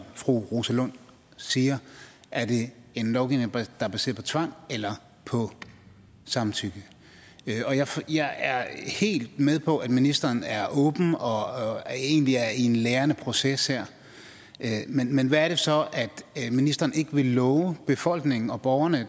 fru rosa lund siger er det en lovgivning der er baseret på tvang eller på samtykke jeg er helt med på at ministeren er åben og egentlig er i en lærende proces her men men hvad er det så ministeren ikke vil love befolkningen og borgerne